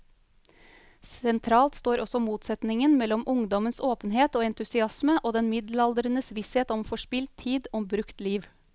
Sentralt står også motsetningen mellom ungdommens åpenhet og entusiasme og den middelaldrendes visshet om forspilt tid, om brukt liv.